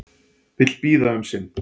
Vill bíða um sinn